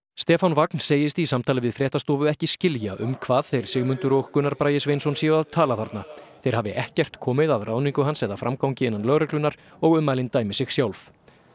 Stefán Vagn segist í samtali við fréttastofu ekki skilja um hvað þeir Sigmundur og Gunnar Bragi Sveinsson séu að tala þarna þeir hafi ekkert komið að ráðningu hans eða framgangi innan lögreglunnar og ummælin dæmi sig sjálf